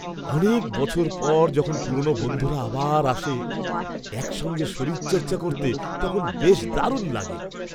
অনেক বছর পর যখন পুরনো বন্ধুরা আবার আসে একসঙ্গে শরীরচর্চা করতে, তখন বেশ দারুণ লাগে।